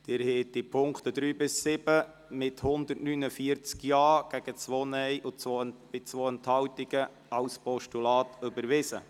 Sie haben die Punkte 3 bis 7 mit 149 Ja- gegen 2-Stimmen bei 2 Enthaltungen als Postulat überwiesen.